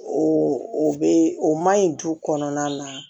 O o be o maɲi du kɔnɔna na